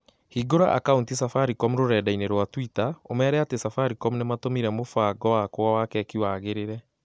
Hingũra akaunti Safaricom rũrenda-inī rũa tũita ũmeere atĩ Safaricom nĩ matũmire mũbango wakwa wa keki wagĩrĩre